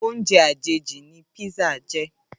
Óoùnjè àjéjí ni pizza jè